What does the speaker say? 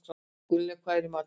Gunngeir, hvað er í matinn?